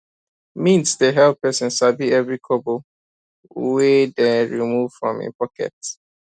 mint dey help person sabi every kobo wey dey move from him pocket